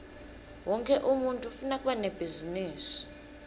wonkhe umuntfu ufuna kuba nebhizinisi